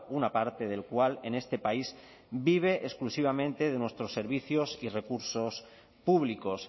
una parte del cual en este país vive exclusivamente de nuestros servicios y recursos públicos